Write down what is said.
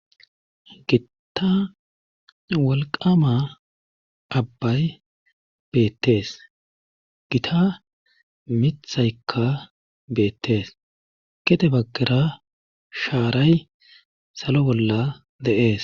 Gitta wolqama abbay beettees gita mithaykka beettees kete baggera shaaray salo bolla deees